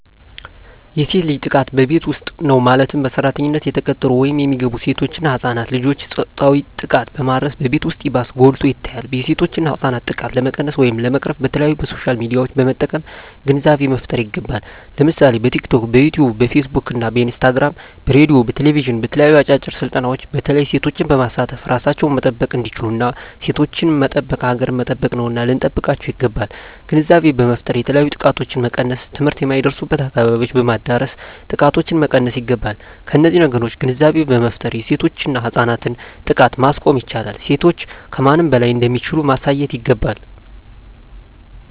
የሴት ልጅ ጥቃት በቤት ዉስጥ ነዉ ማለትም በሰራተኛነት የተቀጠሩ ወይም የሚገቡሴቶች እና ህፃናት ልጆችን ፆታዊ ጥቃትን በማድረስ በቤት ዉስጥ ይባስ ጎልቶ ይታያል የሴቶችና የህፃናት ጥቃት ለመቀነስ ወይም ለመቅረፍ በተለያዩ በሶሻል ሚድያዎችን በመጠቀም ግንዛቤ መፍጠር ይገባል ለምሳሌ በቲክቶክ በዮትዮብ በፊስ ቡክ በኢንስታግራም በሬድዮ በቴሌብዥን በተለያዩ አጫጭር ስልጠናዎች በተለይ ሴቶችን በማሳተፍ እራሳቸዉን መጠበቅ እንዲችሉና ሴቶችን መጠበቅ ሀገርን መጠበቅ ነዉና ልንጠብቃቸዉ ይገባል ግንዛቤ በመፍጠር የተለያዮ ጥቃቶችን መቀነስ ትምህርት የማይደርሱበትን አካባቢዎች በማዳረስ ጥቃቶችን መቀነስ ይገባል በነዚህ ነገሮች ግንዛቤ በመፍጠር የሴቶችና የህፃናትን ጥቃት ማስቆም ይቻላል ሴቶች ከማንም በላይ እንደሚችሉ ማሳየት ይገባል